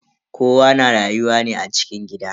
Kowa na rayuwa ne a cikin gida.